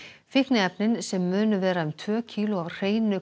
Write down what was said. fíkniefnin sem munu vera tvö kíló af hreinu